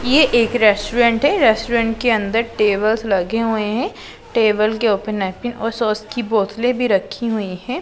ये एक रेस्टोरेंट है रेस्टोरेंट के अंदर टेबल्स लगे हुए हैं टेबल के नैपकिन और सॉस की बोतले भी रखी हुई है।